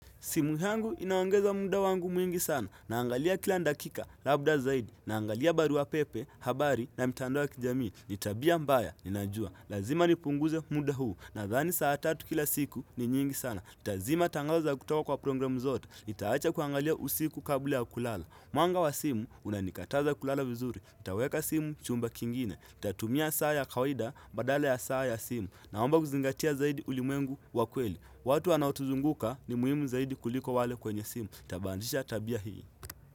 Simu yangu inaongeza munda wangu mwingi sana naangalia kila dakika labda zaidi naangalia barua pepe, habari na mtandao wa kijamii. Ni tabia mbaya, ninajua. Lazima nipunguze munda huu nadhani saa tatu kila siku ni nyingi sana. Nitazima tangazo za kutoka kwa programu zote. Nitaacha kuangalia usiku kabla ya kulala. Mwanga wa simu unanikataza kulala vizuri. Itaweka simu chumba kingine. Nitatumia saa ya kawaida badala ya saa ya simu naomba kuzingatia zaidi ulimuengu wa kweli. Watu wanaotuzunguka ni muhimu zaidi kuliko wale kwenye simu. Tabandisha tabia hii.